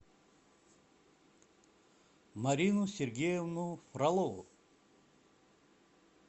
марину сергеевну фролову